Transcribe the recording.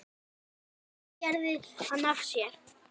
Hvað gerði hann af sér?